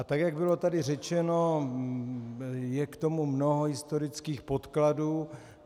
A tak jak bylo tady řečeno, je k tomu mnoho historických podkladů.